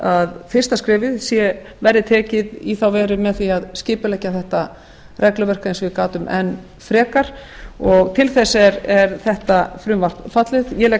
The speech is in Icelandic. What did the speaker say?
að fyrsta skrefið verði tekið í þá veru eð því að skipuleggja þetta regluverk eins og ég gat um enn frekar og til þess er þetta frumvarp fallið ég legg